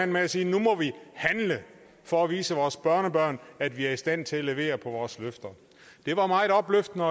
med at sige nu må vi handle for at vise vores børnebørn at vi er i stand til at levere på vores løfter det var meget opløftende